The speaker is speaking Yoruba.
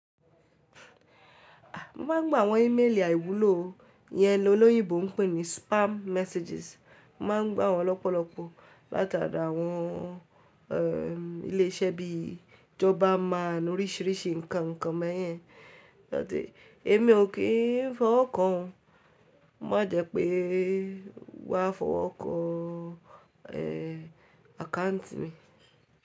Mo ma ń gbá àwọn éméélì àìwúlò Iyẹn, lọ lóyinbò ń pè ní spam messages. Mo ma ń gbá wọn lọ́pọ̀lọ́pọ̀ láti ara àwọn e ilé iṣẹ́ bí i Jobberman oríṣiríṣi nǹkan ǹnkan bẹ́ẹ̀yin. Ẹ̀mi ò kì í fọwọ́ kàn án, má jẹ́ pé wa fọwọ́ kàn án àkáǹtì mi.